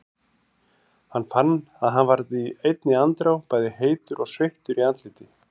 Hann fann að hann varð í einni andrá bæði heitur og sveittur í andliti.